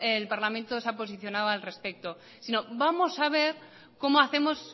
el parlamento se ha posicionado al respecto si no vamos a ver como hacemos